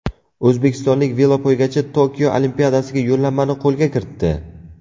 O‘zbekistonlik velopoygachi Tokio Olimpiadasiga yo‘llanmani qo‘lga kiritdi.